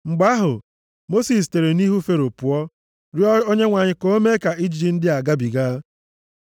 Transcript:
Mgbe ahụ, Mosis sitere nʼihu Fero pụọ rịọọ Onyenwe anyị ka o mee ka ijiji ndị a gabiga.